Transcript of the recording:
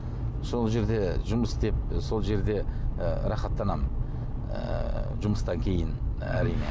сол жерде жұмыс істеп сол жерде ы рахаттанамын ыыы жұмыстан кейін әрине